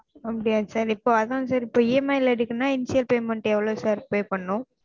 அப்படியா sir இப்போ அதாவது இப்போ EMI ல எடுக்கனும் நா payment எவ்ளோ sir pay பண்ணனும்